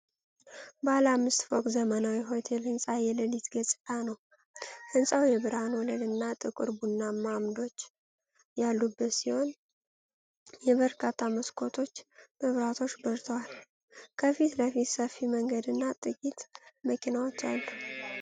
ባለ አምስት ፎቅ ዘመናዊ ሆቴል ሕንፃ የለሊት ገጽታ ነው። ሕንፃው የብርሃን ወለል እና ጥቁር ቡናማ አምዶች ያሉት ሲሆን የበርካታ መስኮቶች መብራቶች በርተዋል። ከፊት ለፊቱ ሰፊ መንገድና ጥቂት መኪናዎች አሉ።